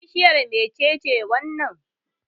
Bishiyar me ce wannan?